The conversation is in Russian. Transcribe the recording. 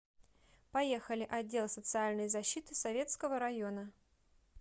поехали отдел социальной защиты советского района